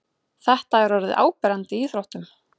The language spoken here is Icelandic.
Þetta er orðið áberandi í íþróttum.